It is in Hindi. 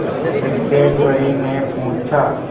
सिद्धेश्वरीने पूछा